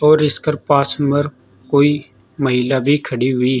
और इसकर पास मर कोई महिला भी खड़ी हुई--